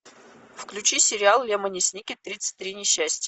включи сериал лемони сникет тридцать три несчастья